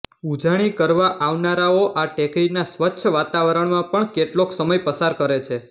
ઉજાણી કરવા આવનારાઓ આ ટેકરીના સ્વચ્છ વાતાવરણમાં પણ કેટલોક સમય પસાર કરે છે